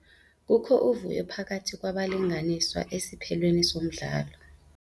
Kukho uvuyo phakathi kwabalinganiswa esiphelweni somdlalo.